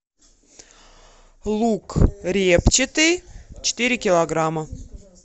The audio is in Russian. лук репчатый четыре килограмма